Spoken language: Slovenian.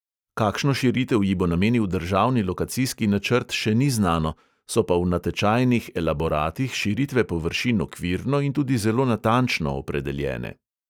Kakšno širitev ji bo namenil državni lokacijski načrt, še ni znano, so pa v natečajnih eleboratih širitve površin okvirno in tudi zelo natančno opredeljene.